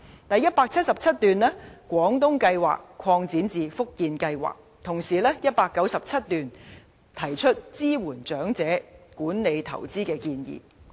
第177段建議把"廣東計劃"擴展至"福建計劃"，而第197段則提出支援長者管理投資的建議。